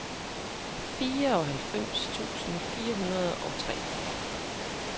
fireoghalvfems tusind fire hundrede og tre